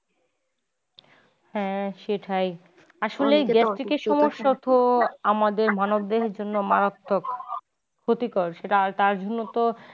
হ্যা সেটাই আসলে এই gastric সমস্যাটা আমাদের মানব দেহের জন্যে মারাত্মক ক্ষতিকর সেটা তার জন্যে তো।